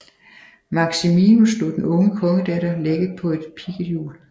Maximinus lod den unge kongedatter lægge på et pigget hjul